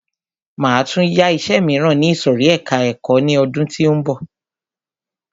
Máa tún yá iṣẹ míràn ní ìsòrí ẹka ẹ̀kọ́ ni ọdún tí ó ń bọ̀.